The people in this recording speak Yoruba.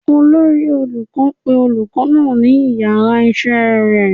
Olori olukọ pe olukọ naa si iyara isé rẹ